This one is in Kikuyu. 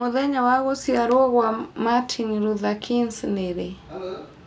mũthenya wa gũcĩarwo gwa Martin Luther kings nĩ rĩ